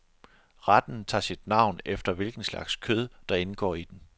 Retten tager sit navn efter hvilken slags kød, der indgår i den.